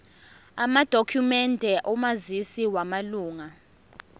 amadokhumende omazisi wamalunga